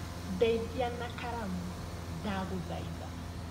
Ndeithia na karamu ndagũthaitha